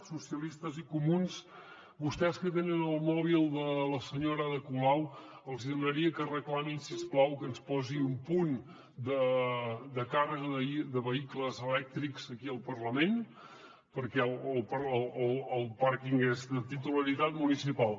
socialistes i comuns vostès que tenen el mòbil de la senyora ada colau els demanaria que reclamin si us plau que ens posi un punt de càrrega de vehicles elèctrics aquí al parlament perquè el pàrquing és de titularitat municipal